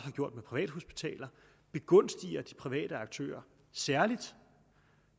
gjort med privathospitaler begunstiger de private aktører særligt